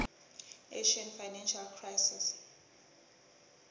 asian financial crisis